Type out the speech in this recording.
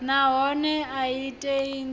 nahone a i tei ndivho